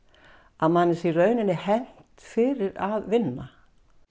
að manni sé í rauninni hegnt fyrir að vinna